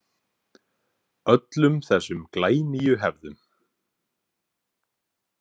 Öllum þessum glænýju hefðum.